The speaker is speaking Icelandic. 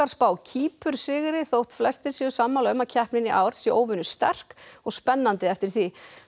spá Kýpur sigri þótt flestir séu sammála um að keppnin í ár sé óvenju sterk og spennandi eftir því